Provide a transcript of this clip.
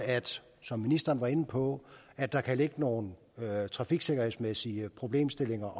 som ministeren var inde på at der kan ligge nogle trafiksikkerhedsmæssige problemstillinger